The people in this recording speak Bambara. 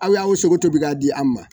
Aw y'aw sogo to bɛ k'a di an ma